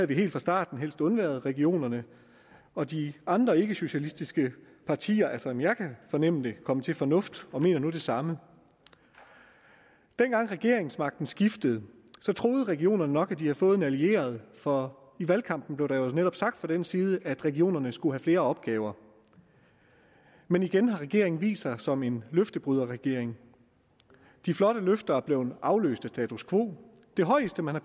vi helt fra starten helst undværet regionerne og de andre ikkesocialistiske partier er som jeg kan fornemme det kommet til fornuft og mener nu det samme dengang regeringsmagten skiftede troede regionerne nok at de havde fået en allieret for i valgkampen blev der netop sagt fra den side at regionerne skulle have flere opgaver men igen har regeringen vist sig som en løftebryderregering de flotte løfter er blevet afløst af status quo det højeste man har